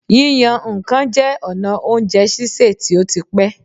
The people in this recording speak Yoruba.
Yíyan nǹkan jẹ́ ọ̀nà oújẹ sísè tí ó ti pẹ́.